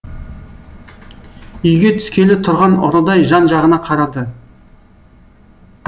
үйге түскелі тұрған ұрыдай жан жағына қарады